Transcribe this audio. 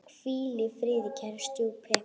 Hvíl í friði, kæri stjúpi.